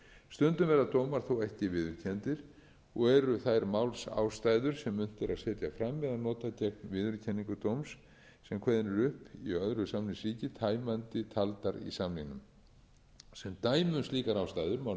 stundum verða dómar þó ekki viðurkenndir og eru þær málsástæður sem unnt er að setja fram eða nota gegn viðurkenningu dóms sem kveðinn er upp í öðru samningsríki tæmandi taldar í samningnum sem dæmi um slíkar ástæður má nefna ef